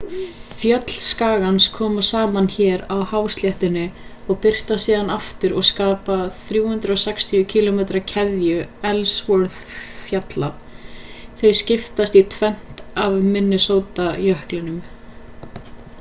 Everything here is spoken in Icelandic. fjöll skagans koma saman hér á hásléttunnni og birtast síðan aftur og skapa 360 km keðju ellsworth-fjalla þau skiptast í tvennt af minnesota-jöklinum